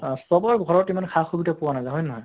আহ চবৰ ঘৰত ইমান সা সুবিধা পোৱা নাযায়, হয় নে নহয়?